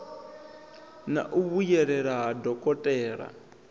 na u vhuyelela ha dokotela